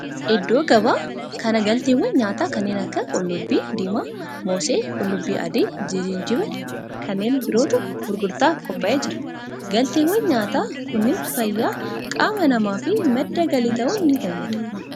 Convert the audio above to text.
Iddoo gabaa kana galteewwan nyaataa kanneen akka qullubbii diimaa, moosee, qullubbii adii, jinjibila fi kanneen birootu gurgurtaaf qophaa'ee jira. galteewwan nyaataa kunneen fayyaa qaama namaa fi madda galii ta'uun ni fayyada.